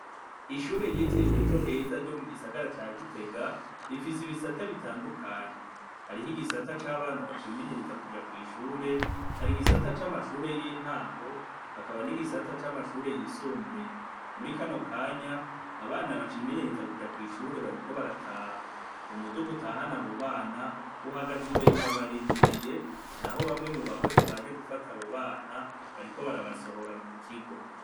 Ishure ryitiriwe Ejo heza ryo mugisagara ca Gitega, rifise ibisata bitandukanye. Hariho igisata c'abana bacimenyereza kuja kw'ishure, hari igisata c'amashure y'intango, hakaba n'igisata c'amashure yisumbuye. Muri kano kanya, abana bacimenyereza kuja kw'ishure bariko barataha. umuduga utahana abo bana, uhagaze imbere urabarindiriye, naho bamwe mu bakozi baje gufata abo bana, bariko barabasohora mu kigo.